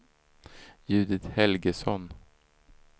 Judit Helgesson